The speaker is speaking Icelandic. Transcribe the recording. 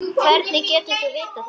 Hvernig getur þú vitað þetta?